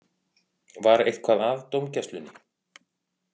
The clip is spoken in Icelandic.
Var eitthvað að dómgæslunni?